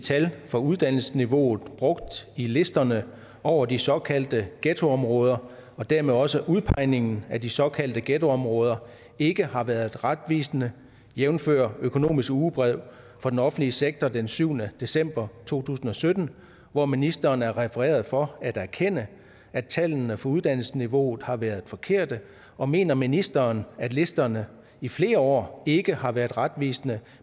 tal for uddannelsesniveauet brugt i listerne over de såkaldte ghettoområder og dermed også udpegningerne af de såkaldte ghettoområder ikke har været retvisende jævnfør økonomisk ugebrev for den offentlige sektor den syvende december to tusind og sytten hvor ministeren er refereret for at erkende at tallene for uddannelsesniveauet har været forkerte og mener ministeren at listerne i flere år ikke har været retvisende